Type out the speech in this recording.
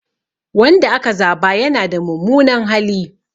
Wanda aka zaba yana da mummunan hali.